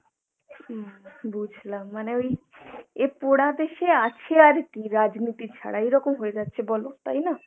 উম বুঝলাম, মানে ওই এ পোড়া দেশে আছে আর কী রাজনীতি ছাড়া এরকম হয়ে যাচ্ছে বলো তাইনা?